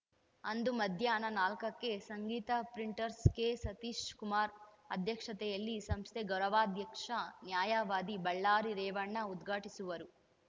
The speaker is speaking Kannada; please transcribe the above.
ಅಂದು ಮಧ್ಯಾಹ್ನ ನಾಲ್ಕಕ್ಕೆ ಸಂಗೀತ ಪ್ರಿಂಟರ್‍ಸ್ನ ಕೆಸತೀಶಕುಮಾರ ಅಧ್ಯಕ್ಷತೆಯಲ್ಲಿ ಸಂಸ್ಥೆ ಗೌರವಾಧ್ಯಕ್ಷ ನ್ಯಾಯವಾದಿ ಬಳ್ಳಾರಿ ರೇವಣ್ಣ ಉದ್ಘಾಟಿಸುವರು